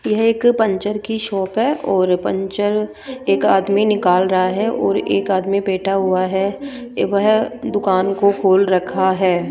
यह एक पंचर की शॉप है और पंचर एक आदमी निकाल रहा है और एक आदमी बैठा हुआ है वह दुकान को खोल रखा है।